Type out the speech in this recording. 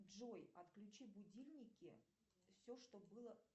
джой отключи будильники все что было